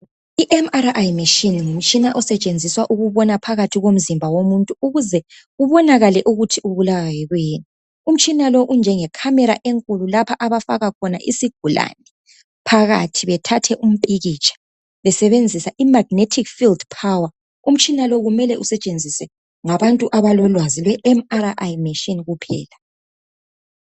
I MRI metshini ngumtshina osetshenziswa ukubona phakathi komzimba yimuntu ukuze kubonakale ukuthi ubulawa yikuyini imtshina lo unjenge khamela enkulu lapha abafaka khona izigulane phakathi bethathe impikitsha besebenzisa imagnetic field power umtshina lowo kumele usetshenziswe ngabantu be MRI kuphela